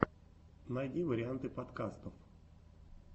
найди варианты подкастов